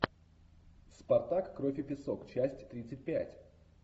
спартак кровь и песок часть тридцать пять